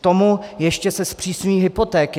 K tomu se ještě zpřísňují hypotéky.